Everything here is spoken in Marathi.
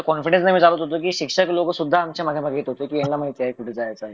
इथं कॉन्फीडंस नि आम्ही चालत होतो कि शिक्षक लोक सुद्धा आमच्या मागे मागे येत होते की यांना माहिती आहे कुठे जायचं